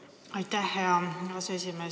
Aitäh, hea aseesimees!